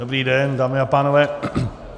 Dobrý den, dámy a pánové.